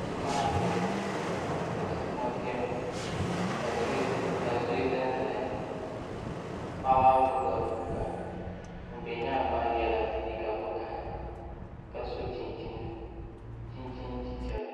tia maha biɛni ka tia kuma biɛni ka zoya ʒɛnʒɛya paɣa maa gbubila guuka ŋun bɛ nyaangi maa yɛla liiga vakaɣali ka so chinchin chichɛra